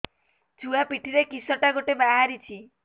ଛୁଆ ପିଠିରେ କିଶଟା ଗୋଟେ ବାହାରିଛି